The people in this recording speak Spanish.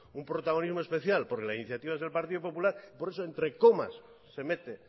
un protagonismo especial porque la iniciativa es del partido popular por eso entre comas se mete